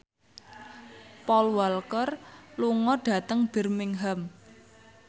Paul Walker lunga dhateng Birmingham